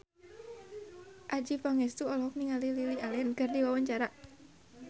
Adjie Pangestu olohok ningali Lily Allen keur diwawancara